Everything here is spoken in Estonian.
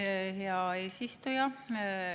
Aitäh, hea eesistuja!